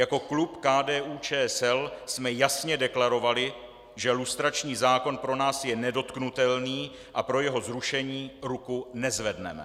Jako klub KDU-ČSL jsme jasně deklarovali, že lustrační zákon pro nás je nedotknutelný, a pro jeho zrušení ruku nezvedneme.